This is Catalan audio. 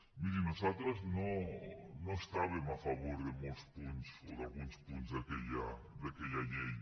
miri nosaltres no estàvem a favor de molts punts o d’alguns punts d’aquella llei